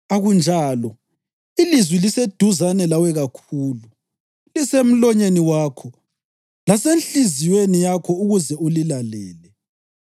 Akunjalo, ilizwi liseduzane lawe kakhulu, lisemlonyeni wakho lasenhliziyweni yakho ukuze ulilalele.